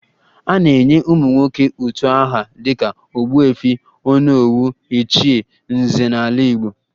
A na-enye ụmụnwoke utu aha dịka ogbuefi, onowu, ichie, nze n'ala Igbo